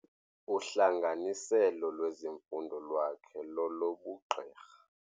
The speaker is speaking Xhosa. Uhlanganiselo lwezifundo lwakhe lolobugqirha.